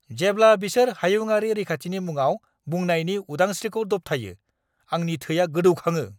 जेब्ला बिसोर हायुङारि रैखाथिनि मुङाव बुंनायनि उदांस्रिखौ दबथायो, आंनि थैआ गोदौखाङो।